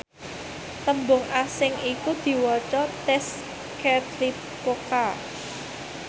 tembung asing iku diwaca tezcatlipoca